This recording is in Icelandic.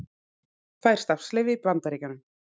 Fær starfsleyfi í Bandaríkjunum